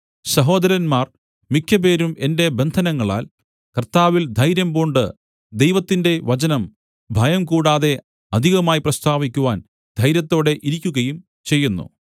സഹോദരന്മാർ മിക്കപേരും എന്റെ ബന്ധനങ്ങളാൽ കർത്താവിൽ ധൈര്യംപൂണ്ട് ദൈവത്തിന്റെ വചനം ഭയംകൂടാതെ അധികമായി പ്രസ്താവിക്കുവാൻ ധൈര്യത്തോടെ ഇരിക്കുകയും ചെയ്യുന്നു